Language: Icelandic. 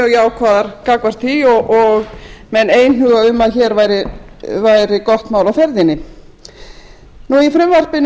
jákvæðar gagnvart því og menn einhuga um að hér væri gott mál á ferðinni í